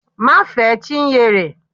Má fe Chinyere!